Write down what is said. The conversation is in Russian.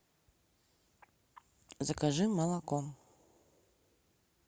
закажи молоко